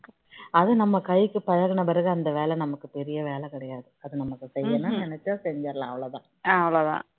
அதுவும் நம்ம கைக்கு பலகுன பிறகு அந்த வேலை நமக்கு பெரிய வேலை கிடையாது நமக்கு செய்யனும்னு நினைச்சா செஞ்சிடலாம்